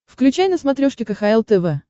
включай на смотрешке кхл тв